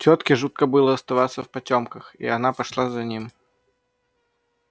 тётке жутко было оставаться в потёмках и она пошла за ним